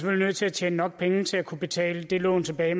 er nødt til at tjene nok penge til at kunne betale det lån tilbage